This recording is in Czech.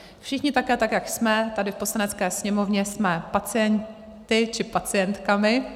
Všichni také, tak jak jsme tady v Poslanecké sněmovně, jsme pacienty či pacientkami.